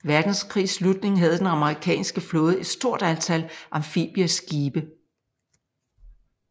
Verdenskrigs slutning havde den amerikanske flåde et stort antal amfibieskibe